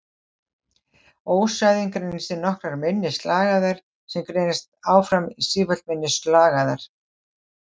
Ósæðin greinist í nokkrar minni slagæðar sem greinast áfram í sífellt minni slagæðar.